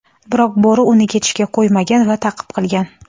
Biroq bo‘ri uni ketishga qo‘ymagan va ta’qib qilgan.